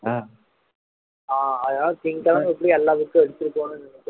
ஆஹ் அதனால things எல்லாம் எப்படி எல்லா books சையும் எடுத்துட்டு போகணும்னு